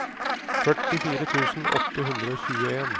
førtifire tusen åtte hundre og tjueen